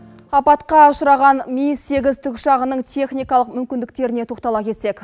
апатқа ұшыраған ми сегіз тікұшағының техникалық мүмкіндіктеріне тоқтала кетсек